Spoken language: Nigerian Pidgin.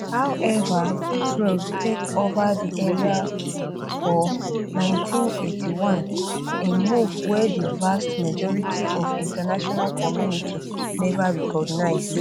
however israel take ova di area for area for 1981 a move wey di vast majority of international community neva reorganize